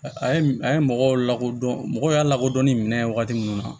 A ye a ye mɔgɔw lakodɔn mɔgɔw y'a lakodɔnni minɛn ye wagati minnu na